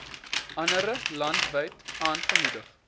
andere landwyd aangemoedig